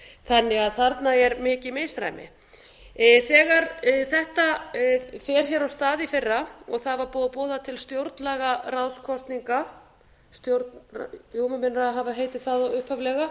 þannig að þarna er mikið misræmi þegar þetta fer hér af stað í fyrra og það var búið að boða til stjórnlagaráðskosninga jú mig minnir að það hafi heitið það upphaflega